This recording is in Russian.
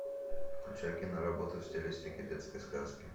включай киноработу в стилистике детской сказки